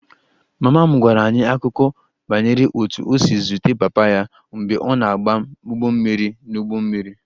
Mama m gwara anyị akụkọ banyere otú o si zute papa ya mgbe ọ na-agba ụgbọ mmiri n'ụgbọ mmiri